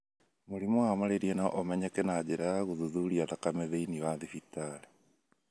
Mũrimũ wa malaria no ũmenyeke na njĩra ya gũthuthuria thakame thĩinĩ wa thibitarĩ.